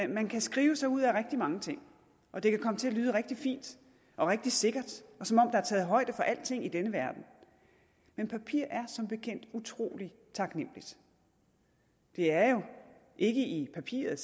man kan skrive sig ud af rigtig mange ting og det kan komme til at lyde rigtig fint og rigtig sikkert og som om er taget højde for alting i denne verden men papir er som bekendt utrolig taknemmeligt det er jo ikke i papiret